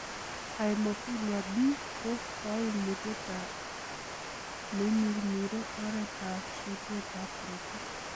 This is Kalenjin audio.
Hemophilia B ko koimutietab neimirmire oretab susetab korotik.